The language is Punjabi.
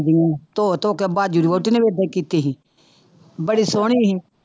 ਜਿਹੀਆਂ ਧੋ ਧੋ ਕੇ ਬਾਜੂ ਦੀ ਵਹੁਟੀ ਨੇ ਵੀ ਏਦਾਂ ਹੀ ਕੀਤੀ ਸੀ, ਬੜੀ ਸੋਹਣੀ ਸੀ।